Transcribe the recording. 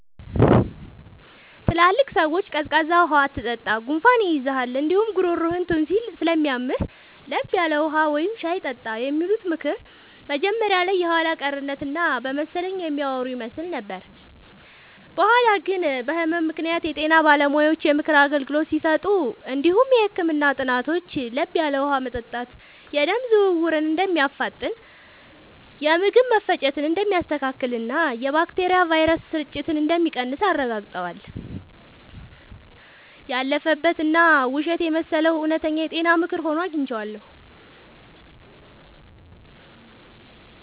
ትላልቅ ሰዎች “ቀዝቃዛ ውሃ አትጠጣ፣ ጉንፋን ይይዝሃል እንዲሁም ጉሮሮህን ቶንሲል ስለሚያምህ፤ ለብ ያለ ውሃ ወይም ሻይ ጠጣ” የሚሉት ምክር መጀመሪያ ላይ የኋላ ቀርነት እና በመሰለኝ የሚያወሩ ይመስል ነበር። በኋላ ግን በህመም ምክንያት የጤና ባለሙያዎች የምክር አገልግሎት ሲሰጡ እንዲሁም የህክምና ጥናቶች ለብ ያለ ውሃ መጠጣት የደም ዝውውርን እንደሚያፋጥን፣ የምግብ መፈጨትን እንደሚያስተካክልና የባክቴሪያና ቫይረስ ስርጭትን እንደሚቀንስ አረጋግጠዋል። ያለፈበት እና ውሸት የመሰለው እውነተኛ የጤና ምክር ሆኖ አግኝቼዋለሁ።